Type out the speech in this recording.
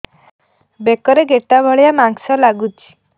ବେକରେ ଗେଟା ଭଳିଆ ମାଂସ ଲାଗୁଚି